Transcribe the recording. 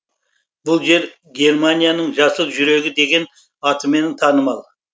бұл жер германияның жасыл жүрегі деген атымен танымал